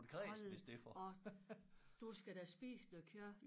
Hold op du skal da spise noget kød